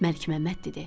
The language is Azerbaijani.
Məlikməmməd dedi: